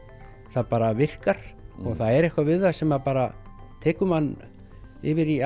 það bara virkar og það er eitthvað við það sem bara tekur mann yfir í